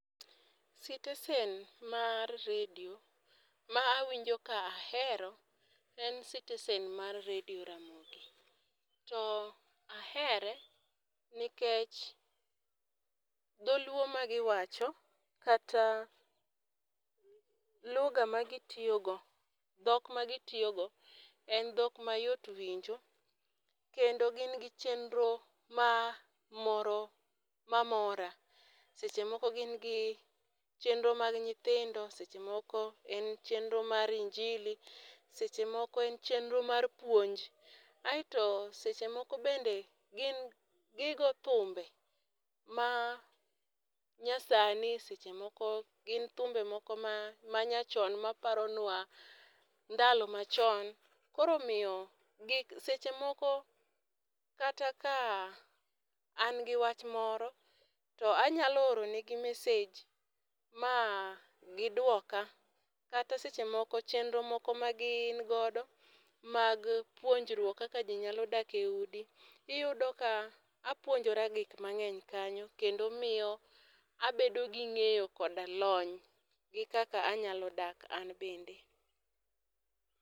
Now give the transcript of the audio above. Sitesen mar redio ma awinjo ka ahero en sitesen mar redio ramogi to ahere nikech dholuo ma gi wacho kata lugha ma gi tiyo go dhok ma gi tiyo go en dhok ma yot winjo kendo gin gi chenro ma moro ma mora. Seche moko gin gi chenro mar nyithindo, seche moko en chenro mar injili, seche moko en chenro mar puonj. Aito seche moko bende gin gi go thumbe ma nyasani seche moko gin thumbe moko manyachon ma paronwa ndalo machon, koro miyo seche moko kata ka an gi wach moro to anyalo oro ne gi message ma gi dwoka kata seche moko chenro moko ma gin go bang' puonjrok kaka ji nyalo dak e udi. Iyudo ka apuonjora gik mang'eny kanyo kendo miyo abedo gi ng'eyo koda lony gi kaka anyalo dak an bende.